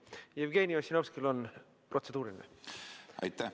Jevgeni Ossinovskil on protseduuriline küsimus.